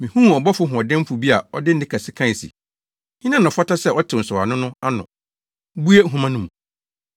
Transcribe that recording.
Mihuu ɔbɔfo hoɔdenfo bi a ɔde nne kɛse kae se, “Hena na ɔfata sɛ ɔtew nsɔwano no na obue nhoma no mu?”